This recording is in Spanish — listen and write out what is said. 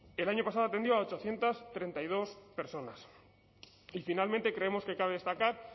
el año pasado atendió a ochocientos treinta y dos personas y finalmente creemos que cabe destacar